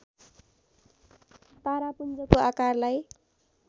तारापुञ्जको आकारलाई